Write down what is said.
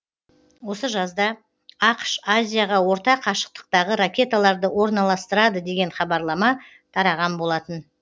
осы жазда ақш азияға орта қашықтықтағы ракеталарды орналастырады деген хабарлама тараған болатын